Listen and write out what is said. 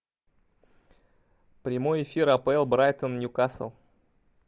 прямой эфир апл брайтон ньюкасл